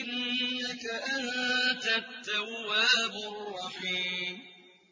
إِنَّكَ أَنتَ التَّوَّابُ الرَّحِيمُ